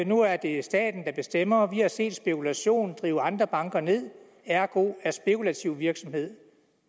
nu er det staten der bestemmer vi har set spekulation drive andre banker ned ergo er spekulativ virksomhed